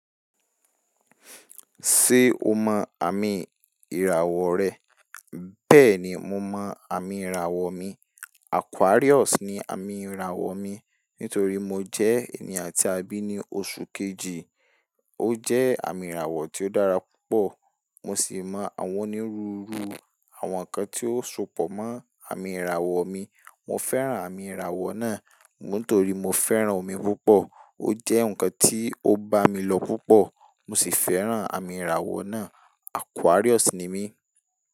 Ṣé o mọ àmì ìràwọ̀ rẹ? Bẹ́ẹ̀ni, mo mọ àmì ìràwọ̀ mi. Aquarius ni àmì ìràwọ̀ mi. Nítorí mo jẹ́ ènìyàn tí a bí ní oṣù kejì. Ó jẹ́ àmì ìràwọ̀ tí ó dára púpọ̀. Mo sì mọ àwọn onírúurú àwọn nǹkan tí ó sopọ̀ mọ́ àmì ìràwọ̀ mi. Mo fẹ́ràn àmì ìràwọ̀ náà. Nítorí mo fẹ́ràn omi púpọ̀. Ó jẹ́ ǹkan tí ó bá mi lọ púpọ̀. Mo sì fẹ́ràn àmì ìràwọ̀ náà. Aquarius ni mí.